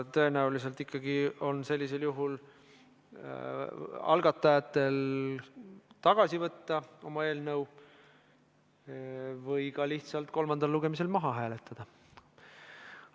Tõenäoliselt tuleb sellisel juhul algatajatel oma eelnõu ikkagi tagasi võtta või lihtsalt kolmandal lugemisel maha hääletada.